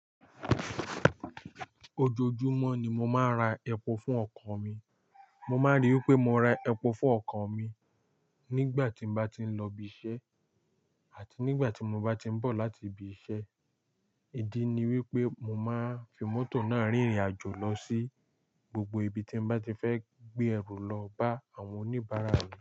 Ojoojúmọ́ ni mo máa ń ra epo fún ọkọ̀ mi. Mo máa ríi wí pé mo ra epo fún ọkọ̀ mi nígbà tí mo bá ti ń lọ ibi iṣẹ́ àti nígbà tí mo bá ti ń bọ̀ láti ibi iṣẹ́. Ídí ni wípé mo máa ń fi mọ́tò náà rìnrìn àjò lọ sí gbogbo ibi tí mo bá ti fẹ́ gbé ẹrù lọ bá àwọn oníbàárà mi.